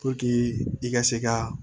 i ka se ka